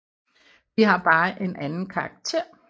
De har bare en anden karakter